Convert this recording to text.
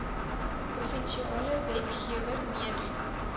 provinsiale wetgewer meedoen